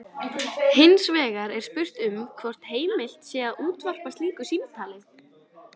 Hins vegar er spurt um hvort heimilt sé að útvarpa slíku símtali.